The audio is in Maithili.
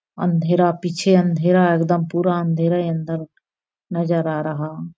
अँधेरा पीछे अँधेरा एकदम पूरा अँधेरा अंदर नज़र आ रहा।